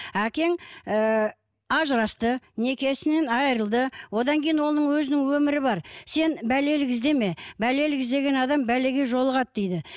әкең ыыы ажырасты некесінен айырылды одан кейін оның өзінің өмірі бар сен бәлелік іздеме бәлелік іздеген адам бәлеге жолығады дейді